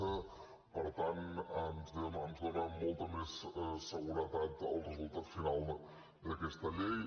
se per tant ens dóna molta més seguretat el resultat final d’aquesta llei